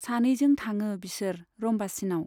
सानैजों थाङो बिसोर रम्बासीनाव।